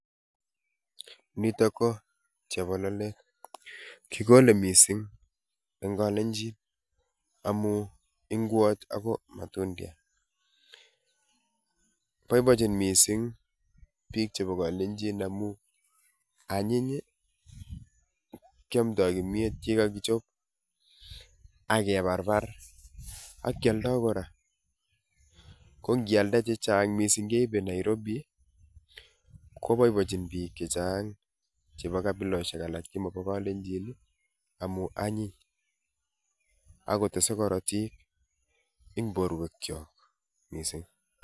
Nitok ko chebololet, kikole mising en kolenjin amun ing'wot ak ko matundiat, boiboenchin mising biik chebo kolenjin amun anyiny kiomdoi komnyeet yekakichob ak kebarbar ak kialda kora, ko ng'ialda chechang mising keibe kobaa Nairobi koboiboenchi biik chechang chebo kabiloshek alak chemobo kolenjin amun anyiny ak kotesei korotik eng' borwekiok mising.